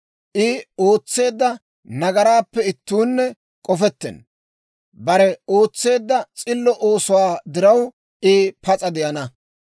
I ootseedda nagaraappe ittuunne k'ofettenna. Bare ootseedda s'illo oosuwaa diraw, I pas'a de'ana.